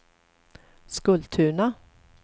Skultuna